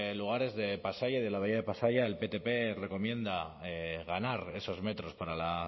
lugares de pasaia y de la bahía de pasaia el ptp recomienda ganar esos metros para la